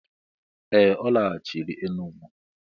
Ee! Ọ laghachiri Enugwu.